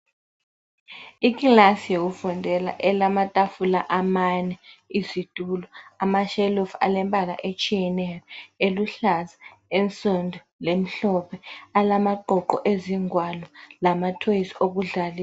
Iclass yokufundela elamtafula amane ,izitulo, amashelufu alembala etshiyeneyo eluhlaza, ensundu, lemhlophe alamaqoqo ezingwalo lama toys okudlalisa.